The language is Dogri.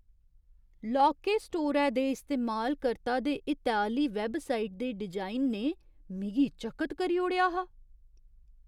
लौह्के स्टोरै दे इस्तेमालकर्ता दे हितै आह्‌ली वैबसाइट दे डिजाइन ने मिगी चकत करी ओड़ेआ हा।